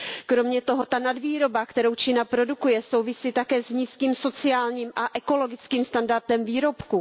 Kromě toho ta nadvýroba, kterou Čína produkuje, souvisí také s nízkým sociálním a ekologickým standardem výrobků.